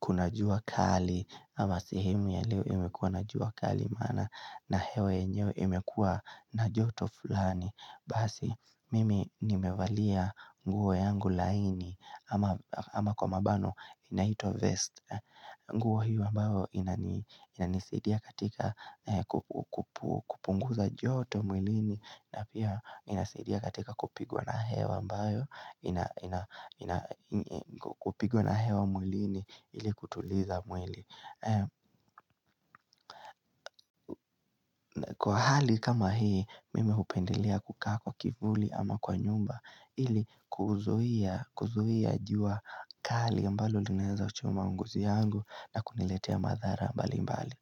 kuna jua kali ama sehemu ya leo imekua na jua kali maana na hewa yenyewe imekua na joto fulani. Basi mimi nimevalia nguo yangu laini ama kwa mabano inaitwa 'vest' nguo hio ambayo inanisadia katika kupunguza joto mwilini na pia inasadia katika kupigwa na hewa ambayo kupigwa na hewa mwilini ili kutuliza mwili Kwa hali kama hii mimi hupendelea kukaa kwa kivuli ama kwa nyumba ili kuzuia kuzuia jua kali ambalo linaweza choma ngozi yangu na kuniletea madhara mbalimbali.